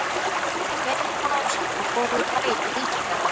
Tveimur mánuðum seinna fórum við Bragi til Ísafjarðar.